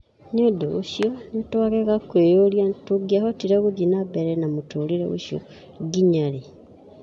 Nĩ ũndũ ũcio nĩ twagega kwĩyũria tũngĩahotire gũthiĩ na mbere na mũtũũrĩre ũcio nginya rĩ".